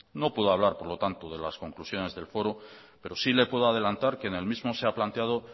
no puedo hablar por lo tanto de las conclusiones del foro pero sí le puedo adelantar que en el mismo se ha planteado